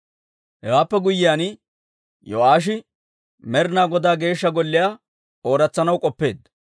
Hewaappe guyyiyaan, Yo'aashi Med'inaa Godaa Geeshsha Golliyaa ooratsanaw k'oppeedda.